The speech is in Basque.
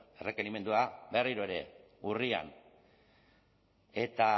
errekerimendua berriro ere urrian eta